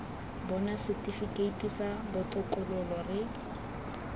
bona setifikeiti sa botokololo re